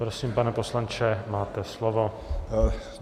Prosím, pane poslanče, máte slovo.